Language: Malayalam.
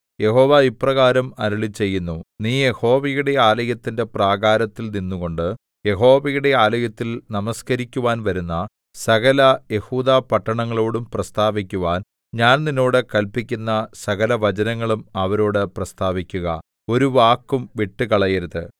യഹോവ ഇപ്രകാരം അരുളിച്ചെയ്യുന്നു നീ യഹോവയുടെ ആലയത്തിന്റെ പ്രാകാരത്തിൽ നിന്നുകൊണ്ട് യഹോവയുടെ ആലയത്തിൽ നമസ്കരിക്കുവാൻ വരുന്ന സകല യെഹൂദാപട്ടണങ്ങളോടും പ്രസ്താവിക്കുവാൻ ഞാൻ നിന്നോട് കല്പിക്കുന്ന സകലവചനങ്ങളും അവരോടു പ്രസ്താവിക്കുക ഒരു വാക്കും വിട്ടുകളയരുത്